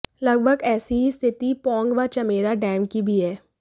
लगभग ऐसी ही स्थिति पौंग व चमेरा डैम की भी है